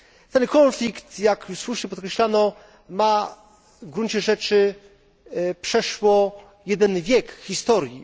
Ten konflikt, jak słusznie podkreślano, ma w gruncie rzeczy przeszło jeden wiek historii.